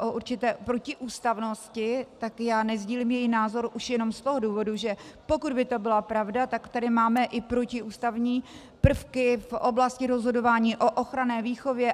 o určité protiústavnosti, tak já nesdílím její názor už jenom z toho důvodu, že pokud by to byla pravda, tak tady máme i protiústavní prvky v oblasti rozhodování o ochranné výchově.